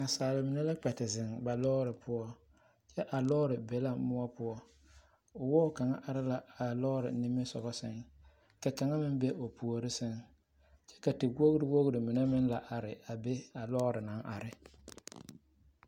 Naasaale mine la kpɛ te zeŋ ba lɔɔre poɔ kyɛ a lɔɔre be la moɔ poɔ wɔɔ kaŋa are la a lɔɔre nimisoɡa sɛŋ ka kaŋa meŋ be o puori sɛŋ kyɛ ka tewoɡriwoɡri mine meŋ la are a be a lɔɔre naŋ are.